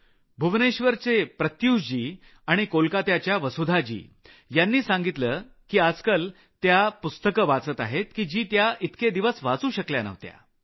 भुवनेश्वरचे प्रत्युष देवाशिष आणि कोलकत्याच्या वसुधा माधोगडिया यांनी सांगितलं की आजकाल त्या पुस्तकं वाचत आहेत की जी त्या इतके दिवस वाचू शकल्या नव्हत्या